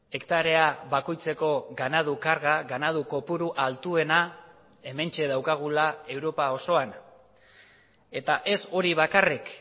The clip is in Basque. hektarea bakoitzeko ganadu karga ganadu kopuru altuena hementxe daukagula europa osoan eta ez hori bakarrik